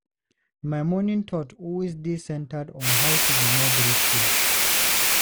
My morning thought always dey centered on how to be more grateful.